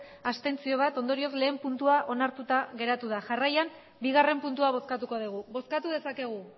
bat abstentzio ondorioz lehen puntua onartuta geratu da jarraian bigarren puntua bozkatuko dugu bozkatu dezakegu